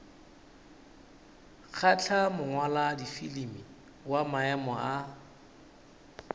kgahla mongwaladifilimi wa maemo a